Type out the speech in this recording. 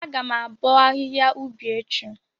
Agam abo ahihia ubi echi.